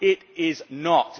It is not.